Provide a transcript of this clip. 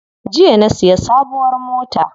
Jiya na siya sabuwar mota.